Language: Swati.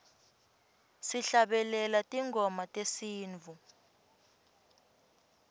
sihlabelela tingoma tesintfu